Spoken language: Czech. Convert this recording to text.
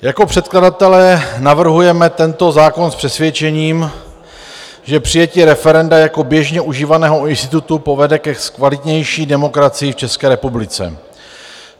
Jako předkladatelé navrhujeme tento zákon s přesvědčením, že přijetí referenda jako běžně užívaného institutu povede ke kvalitnější demokracii v České republice.